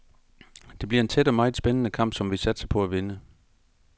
Det bliver en tæt og meget spændende kamp, som vi satser på at vinde.